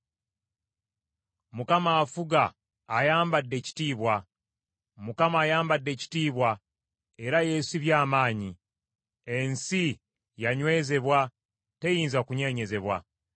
Mukama afuga; ayambadde ekitiibwa. Mukama ayambadde ekitiibwa era yeesibye amaanyi. Ensi yanywezebwa; teyinza kunyeenyezebwa.